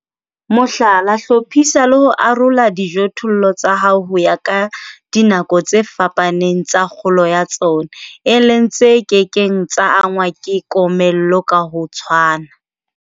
Mohlala, hlophisa le ho arola dijothollo tsa hao ho ya ka dinako tse fapaneng tsa kgolo ya tsona, e leng tse ke keng tsa angwa ke komello ka ho tshwana.